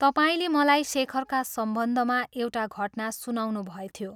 तपाईंले मलाई शेखरका सम्बन्धमा एउटा घटना सुनाउनुभएथ्यो।